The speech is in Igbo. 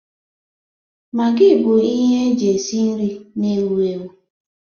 Magi bụ ihe eji esi nri na-ewu ewu.